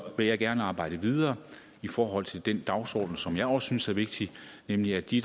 vil jeg gerne arbejde videre i forhold til den dagsorden som jeg også synes er vigtig nemlig at de